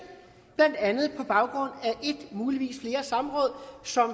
blandt andet på baggrund af ét muligvis flere samråd som